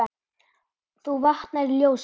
þú vaknar í ljósi.